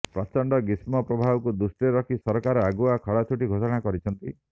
ପ୍ରଚଣ୍ଡ ଗ୍ରୀଷ୍ମପ୍ରବାହକୁ ଦୃଷ୍ଟିରେ ରଖି ସରକାର ଆଗୁଆ ଖରାଛୁଟି ଘୋଷଣା କରିଛନ୍ତି